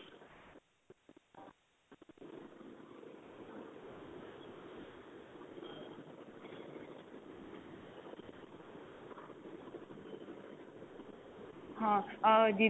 ਹਾਂ ah ਜਿਹਦੇ